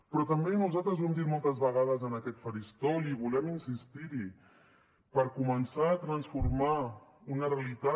però també nosaltres ho hem dit moltes vegades en aquest faristol i volem insistir hi per començar a transformar una realitat